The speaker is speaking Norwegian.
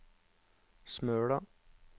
Smøla